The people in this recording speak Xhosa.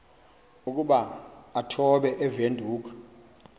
ukuba achophe ewindhoek